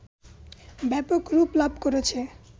ব্যাপক রূপ লাভ করেছে